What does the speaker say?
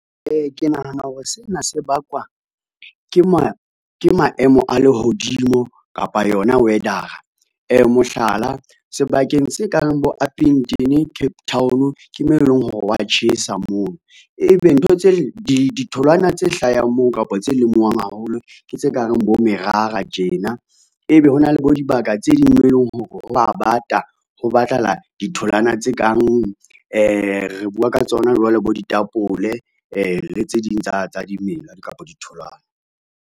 Ke nahana hore sena se bakwa ke maemo a lehodimo kapa yona weather-a. Mohlala, sebakeng se kang bo Upington, Cape Town, ke mo eleng hore hwa tjhesa mono, ebe ditholwana tse hlahang moo kapa tse lemuwang haholo, ke tse kang bo merara tjena. Ebe ho na le bo dibaka tse ding moo e leng hore ho a bata ho batlahala ditholwana tse kang re bua ka tsona jwale bo ditapole le tse ding tsa dimela kapo ditholwana.